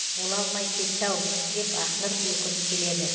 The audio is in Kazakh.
бола алмай кетті ау деп ақнұр өкіріп келеді